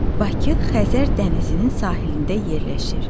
Bakı Xəzər dənizinin sahilində yerləşir.